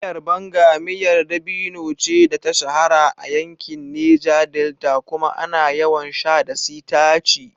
Miyar Banga miyar dabino ce da ta shahara a yankin Neja Delta kuma ana yawan sha da sitaci.